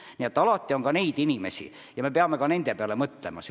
Nii et on ka selliseid inimesi ja me peame ka nende peale mõtlema.